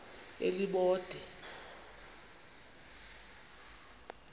elibode